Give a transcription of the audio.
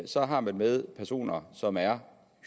så har man med personer at som er